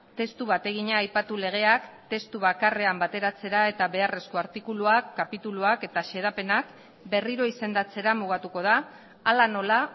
testu bategina aipatu legeak testu bakarrean bateratzera eta beharrezko artikuluak kapituluak eta xedapenak berriro izendatzera mugatuko da hala nola